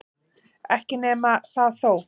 Ekki nema það þó!